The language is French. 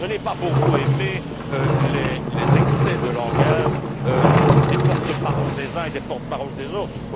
Je n'ai pas beaucoup aimé les excès de langage des porte parole des uns et des porte parole des autres.